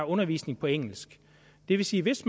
undervisning på engelsk det vil sige hvis